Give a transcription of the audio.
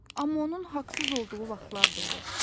Amma onun haqsız olduğu vaxtlar da olur.